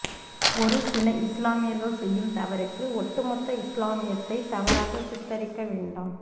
ஒருசில இஸ்லாமியர்கள் செய்யும் தவறுக்கு ஒட்டுமொத்த இஸ்லாமியத்தை தவறாக சித்தரிக்க வேண்டாம்